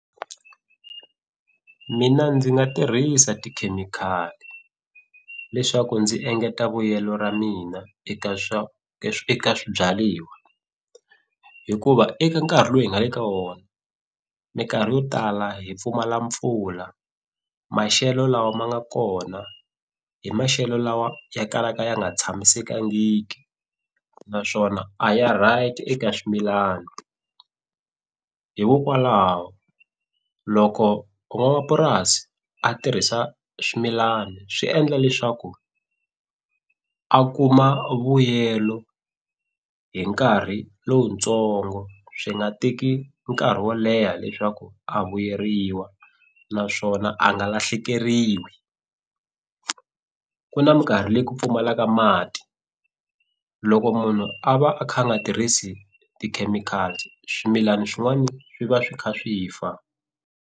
Mina ndzi nga tirhisa tikhemikhali leswaku ndzi engeta vuyelo ra mina eka swa eka swibyaliwa hikuva eka nkarhi lowu hi nga le ka wona minkarhi yo tala hi pfumala mpfula maxelo lawa ma nga kona hi maxelo lawa ya kalaka ya nga tshamisekangiki naswona a ya right eka swimilana hikokwalaho loko van'wamapurasi a tirhisa swimilani swi endla leswaku a kuma vuyelo hi nkarhi lowutsongo swi nga teki nkarhi wo leha leswaku a vuyeriwa naswona a nga lahlekeriwi ku na minkarhi leyi ku pfumalaka mati loko munhu a va a kha a nga tirhisi tikhemikhati swimilani swin'wani swi va swi kha swi fa.